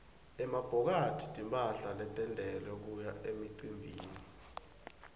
emabhokathi timphahla letentiwele kuya emicimbini